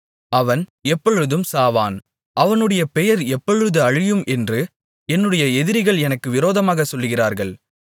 அவன் எப்பொழுது சாவான் அவனுடைய பெயர் எப்பொழுது அழியும் என்று என்னுடைய எதிரிகள் எனக்கு விரோதமாகச் சொல்லுகிறார்கள்